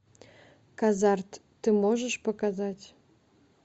казарт ты можешь показать